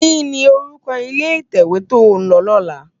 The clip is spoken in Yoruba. Kini órúkò ilé itèwé tó n lò lòlá?